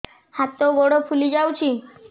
ହାତ ଗୋଡ଼ ଫୁଲି ଯାଉଛି